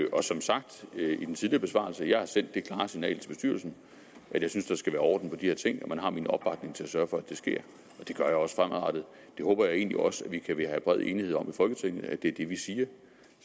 og som sagt i den tidligere besvarelse jeg har sendt det klare signal til bestyrelsen at jeg synes der skal være orden i de ting og at man har min opbakning til at sørge for at det sker det gør jeg også fremadrettet jeg håber egentlig også at vi kan have bred enighed om i folketinget at det er det vi siger